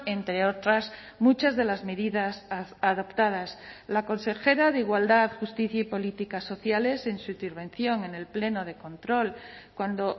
entre otras muchas de las medidas adoptadas la consejera de igualdad justicia y políticas sociales en su intervención en el pleno de control cuando